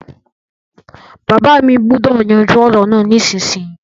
Bàbá mi gbúdọ̀ yanjú ọ̀rọ̀ náà nísinsinyì